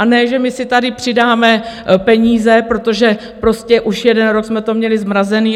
A ne že my si tady přidáme peníze, protože prostě už jeden rok jsme to měli zmrazené.